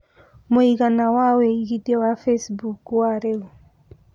mũigana wa wĩĩgĩthĩa wa Facebook wa rĩũ